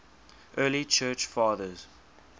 early church fathers